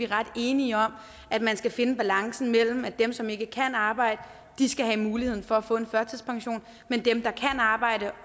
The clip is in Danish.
ret enige om at man skal finde balancen mellem at dem som ikke kan arbejde skal have muligheden for at få en førtidspension men dem der kan arbejde